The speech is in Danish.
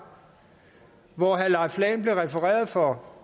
hvor herre leif lahn jensen blev refereret for